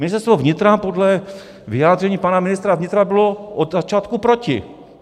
Ministerstvo vnitra podle vyjádření pana ministra vnitra bylo od začátku proti.